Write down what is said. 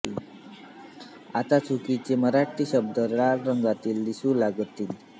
आता चुकीचे मराठी शब्द लाल रंगात दिसू लागतील